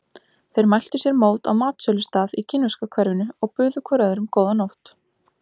Þeir mæltu sér mót á matsölustað í kínverska hverfinu og buðu hvor öðrum góða nótt.